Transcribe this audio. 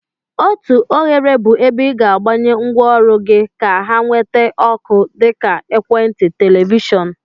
Otu oghere bụ ebe ị ga-agbanye ngwaọrụ gị ka ha nweta ọkụ, dịka. Ekwentị, Televishon.